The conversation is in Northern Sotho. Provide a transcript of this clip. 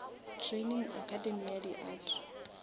training academy ya di art